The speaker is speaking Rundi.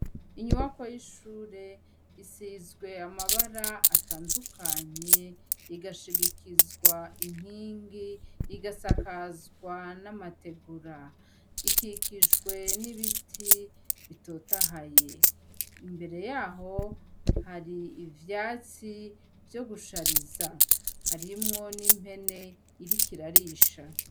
Inyubakwa y’ishure isizwe amabara atandukanye igashigikizwa inkingi igasakazwa n’amategura, ikikijwe n’ibiti bitotahaye imbere yaho hari ivyatsi vyo gushariza harimwo n’impene iriko irarisha.